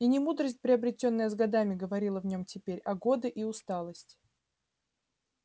и не мудрость приобретённая с годами говорила в нём теперь а годы и усталость